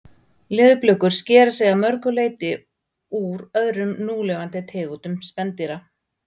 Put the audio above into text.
Leðurblökur skera sig að mörgu leyti úr öðrum núlifandi tegundum spendýra.